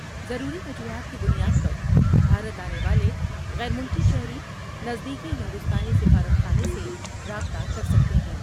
ضروری وجوہات کی بنیاد پر بھارت آنے والے غیر ملکی شہری نزدیکی ہندوستانی سفارت خانے سے رابطہ کر سکتے ہیں ۔